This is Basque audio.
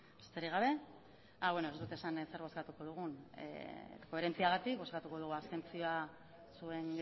besterik gabe beno ez dut esan zer bozkatuko dugun koherentziagatik bozkatuko dugu abstentzioa zuen